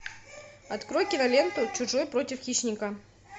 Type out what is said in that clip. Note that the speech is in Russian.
открой киноленту чужой против хищника